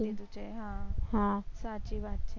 હા સાચી વાત છે